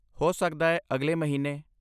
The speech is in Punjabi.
ਹੋ ਸਕਦਾ ਹੈ ਅਗਲੇ ਮਹੀਨੇ।